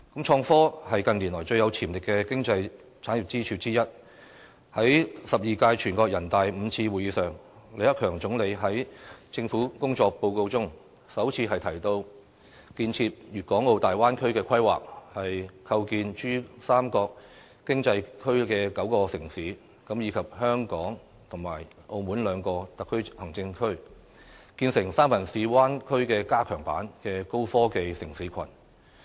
創科是近年來最有潛力的經濟產業支柱之一，在第十二屆全國人大五次會議上，李克強總理在政府工作報告中，首次提到建設粵港澳大灣區的規劃，構建珠三角經濟區的9個城市，以及香港和澳門兩個特別行政區，建成"三藩市灣區加強版"的高科技城市群。